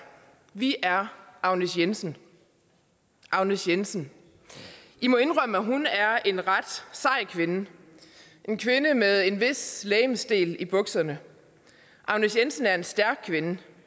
vi er agnes jensen agnes jensen i må indrømme at hun er en ret sej kvinde en kvinde med en vis legemsdel i bukserne agnes jensen er en stærk kvinde